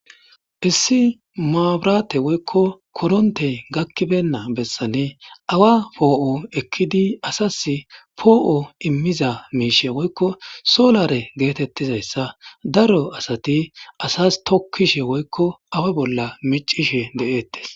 issi maaburate woykko korontey gakkibenna bessane awa poo7o ekkidi asas poo7o immiza miishe woykko solare geetettizayssa daro asati asas tokkishe woykko awa bolla micishe de7eettes